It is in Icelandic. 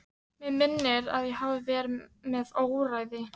Mig minnir að ég hafi verið með óráði.